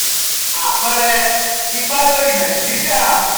apeere: ipa lori nigeria